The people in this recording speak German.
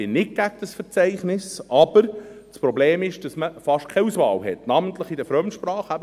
ich bin nicht gegen dieses Verzeichnis, aber das Problem ist, dass man fast keine Auswahl hat, namentlich in den Fremdsprachen;